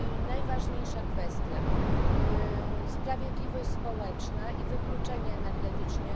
Najważniejsza kwestia sprawiedliwość społeczna i wykluczenie energetyczne.